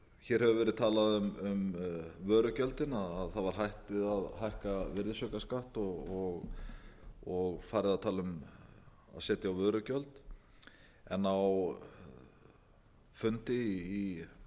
hér hefur verið talað um vörugjöldin að það var hætt við að hækka virðisaukaskatt og farið að tala um að setja á vörugjöld en á fundi í